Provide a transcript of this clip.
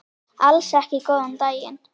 Alls ekki góðan daginn.